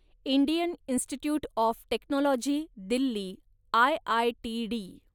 Indian Institute of Technology Delhi, IITD